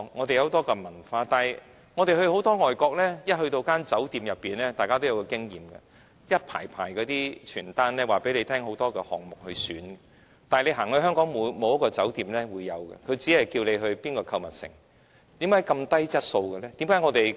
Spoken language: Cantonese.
大家到外地旅遊都有這經驗，便是一進酒店，便會看到一排一排的旅遊單張，介紹很多項目任君選擇，但香港沒有一間酒店會這樣做，只會叫你到哪個購物城，為何質素這麼低？